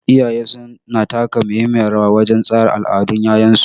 Iyaye su na taka muhimmiyar rawa wajen tsara al'adun 'ya'yansu.